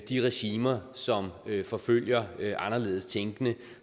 de regimer som forfølger anderledes tænkende